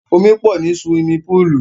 Omi pọ̀ ní suwimi púùlù.